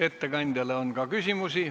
Ettekandjale on ka küsimusi.